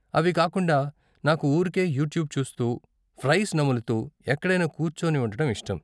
అవి కాకుండా, నాకు ఊరికే యూట్యూబ్ చూస్తూ, ఫ్రైస్ నములుతూ, ఎక్కడైనా కూర్చొని ఉండటం ఇష్టం.